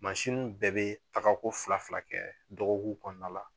Mansin bɛɛ bɛ tagako fila fila kɛ dɔgɔkun kɔnɔna la